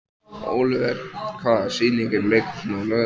Ólíver, hvaða sýningar eru í leikhúsinu á laugardaginn?